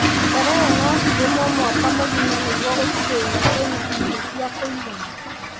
Terere no cirĩmwo mwaka mũgima nĩguo gũtigĩrĩra kwĩ na irio cia kũigana.